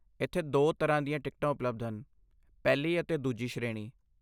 ਇੱਥੇ ਦੋ ਤਰ੍ਹਾਂ ਦੀਆਂ ਟਿਕਟਾਂ ਉਪਲਬਧ ਹਨ, ਪਹਿਲੀ ਅਤੇ ਦੂਜੀ ਸ਼੍ਰੇਣੀ।